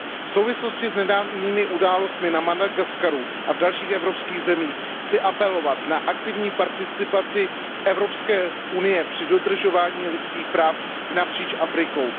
V souvislosti s nedávnými událostmi na Madagaskaru a v dalších afrických zemích chci apelovat na aktivní participaci Evropské unie při dodržování lidských práv napříč Afrikou.